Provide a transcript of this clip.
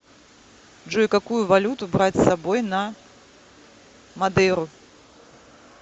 джой какую валюту брать с собой на мадейру